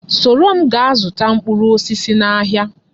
Soro nne m gaa zụta mkpụrụ osisi n'ahịa!